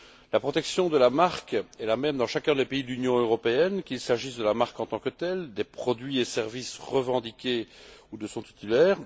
La protection de la marque est la même dans chacun des pays de l'Union européenne, qu'il s'agisse de la marque en tant que telle, des produits et services revendiqués ou de son titulaire.